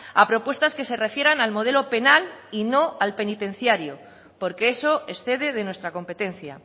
a propuestas que se refieran al modelo penal y no al penitenciario porque eso excede de nuestra competencia